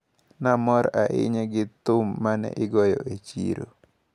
Namor ahinya gi thum mane igoyo e chiro.